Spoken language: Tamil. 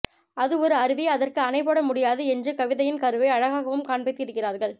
அது ஒரு அருவி அதற்கு அணை போட முடியாது என்று கதையின் கருவை அழகாகவும் காண்பித்து இருக்கிறார்கள்